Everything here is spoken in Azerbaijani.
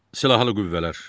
Silahlı Qüvvələr.